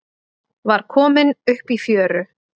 Var kominn upp í fjöru